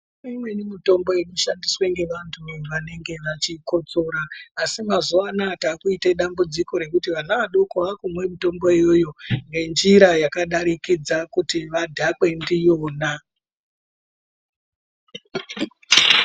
Imweni mitombo inoshandiswa ngevantu vanenge vachikosora asi mazuva anaya takuite dambudziko nekuti vana vadoko vakumwa mitombo iyoyo ngenzira yakadarikidza kuti vadhakwe ndiyona .